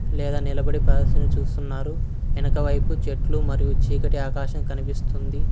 లేదా నిలబడి ప్రదర్శిని చూస్తున్నారు ఎనకవైపు చెట్లు మరియు చీకటి ఆకాశం కనిపిస్తుంది.